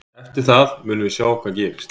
Eftir það munum við sjá hvað gerist.